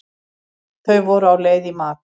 Þau voru á leið í mat.